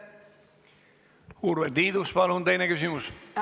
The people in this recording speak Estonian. Urve Tiidus, palun teine küsimus!